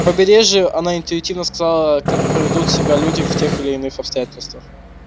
на побережье она интуитивно знала аа как поведут себя люди в тех или иных обстоятельствах